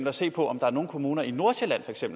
at se på om der er nogle kommuner i nordsjælland